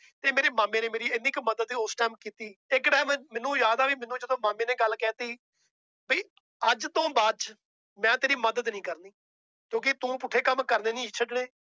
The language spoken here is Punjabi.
ਤੇ ਮੇਰੇ ਮਾਮੇ ਨੇ ਮੇਰੀ ਇੰਨੀ ਕੁ ਮਦਦ ਉਸ time ਕੀਤੀ ਇੱਕ time ਮੈਨੂੰ ਯਾਦ ਆ ਵੀ ਮੈਨੂੰ ਜਦੋਂ ਮਾਮੇ ਨੇ ਗੱਲ ਕਹਿ ਦਿੱਤੀ ਵੀ ਅੱਜ ਤੋਂ ਬਾਅਦ ਚ ਮੈਂ ਤੇਰੀ ਮਦਦ ਨੀ ਕਰਨੀ ਕਿਉਂਕਿ ਤੁੰ ਪੁੱਠੇ ਕੰਮ ਕਰਨੋ ਨੀ ਛੱਡਣੇ